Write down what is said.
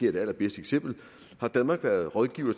er det allerbedste eksempel har danmark været rådgiver